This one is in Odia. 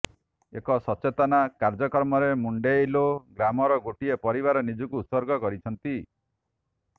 ଏକ ସଚେତନତା କାର୍ଯ୍ୟକ୍ରମରେ ମୁଣ୍ଡେଇଲୋ ଗ୍ରାମର ଗୋଟିଏ ପରିବାର ନିଜକୁ ଉତ୍ସର୍ଗ କରିଛନ୍ତି